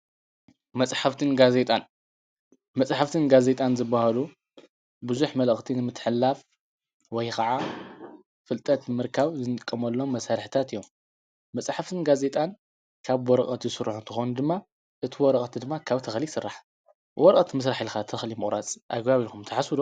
መፃሕፍትን ጋዜጣን ዝባሃሉ ቡዙሕ መልእክቲ ንምትሕልላፍ ወይ ካዓ ፍልጠት ንምርካብ አንጥቀመሎሞ መሳርሕታት እዮሞ። መፃሓፍትን ጋዜጣን ካብ በወረቀት ዝስሩሕ አንትኾኑ ድማ አቲ ወረቀት ድማ ካብ ተኽሊ ይስራሕ ።በወረቀት ምስራሕ ካብ ተኽሊ ምቁራፅ ኣገባብ እዩ ትብሉ ትሓስቡዶ?